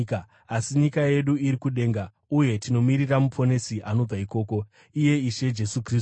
Asi nyika yedu iri kudenga. Uye tinomirira Muponesi anobva ikoko, iye Ishe Jesu Kristu,